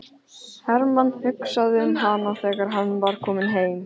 Hermann hugsaði um hana þegar hann var kominn heim.